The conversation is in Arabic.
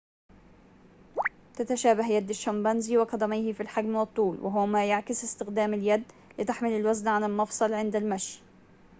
تتشابه يد الشمبانزي وقدميه في الحجم والطول وهو ما يعكس استخدام اليد لتحمل الوزن على المفصل عند المشي